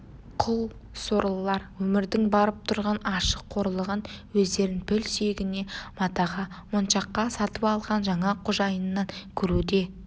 құл сорлылар өмірдің барып тұрған ащы қорлығын өздерін піл сүйегіне матаға моншаққа сатып алған жаңа қожайынынан көруі де